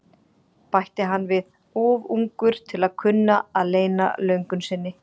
bætti hann við, of ungur til að kunna að leyna löngun sinni.